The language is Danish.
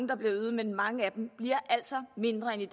der bliver øget men mange af dem bliver altså mindre end i